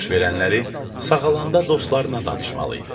Baş verənləri sağalanda dostlarına danışmalı idi.